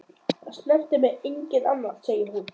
Það snertir mig enginn annar, segir hún.